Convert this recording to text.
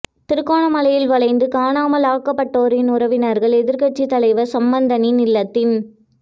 திருகோணமலையில் வலிந்து காணாமல் ஆக்கப்பட்டோரின் உறவினர்கள் எதிர்கட்சித் தலைவர் சம்பந்தனின் இல்லத்தின்